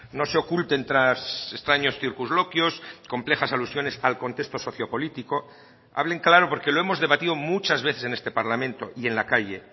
no se oculten tras extraños circunloquios complejas alusiones al contexto sociopolítico hablen claro porque lo hemos debatido muchas veces en este parlamento y en la calle